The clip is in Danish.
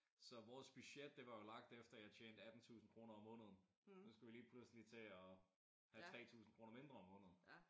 Så vores budget det var jo lagt efter at jeg tjente 18000 kroner om måneden. Så skulle vi lige pludselig til at have 3000 kroner mindre om måneden